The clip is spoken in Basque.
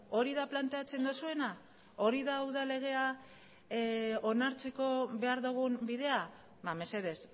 hori da planteatzen duzuena hori da udal legea onartzeko behar dugun bidea mesedez